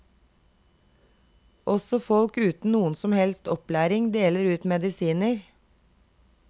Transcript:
Også folk uten noen som helst opplæring deler ut medisiner.